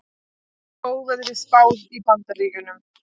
Óveðri spáð í Bandaríkjunum